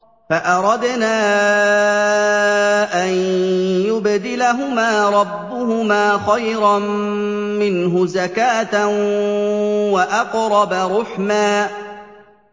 فَأَرَدْنَا أَن يُبْدِلَهُمَا رَبُّهُمَا خَيْرًا مِّنْهُ زَكَاةً وَأَقْرَبَ رُحْمًا